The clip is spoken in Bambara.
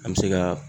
An bɛ se ka